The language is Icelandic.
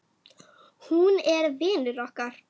Hún er vinur okkar.